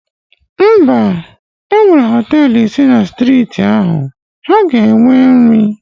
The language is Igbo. Mba, enwere Họtelụ ise na striiti ahụ, ha ga-enwe nri